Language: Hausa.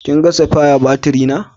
Ka gan sipiya baturi na?